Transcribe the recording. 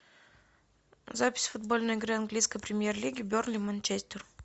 запись футбольной игры английской премьер лиги бернли манчестер